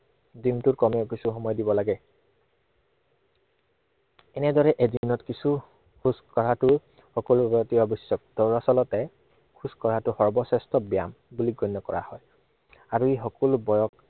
দিনটোত কমেও কিছু সময় দিব লাগে। এনেদৰে এদিনত কিছু খোজ কঢ়াটো সকলোৰে বাবে অতি অৱশ্য়ক। দৰাচলতে খোজ কঢ়াটো সৰ্বশ্ৰেষ্ঠ ব্য়ায়াম বুলি গণ্য় কৰা হয়। আৰু ই সকলো বয়স